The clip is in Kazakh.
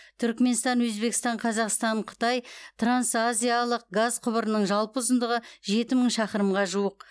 түрікменстан өзбекстан қазақстан қытай трансазиялық газ құбырының жалпы ұзындығы жеті мың шақырымға жуық